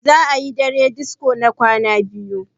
za a yi dare disko na kwana biyu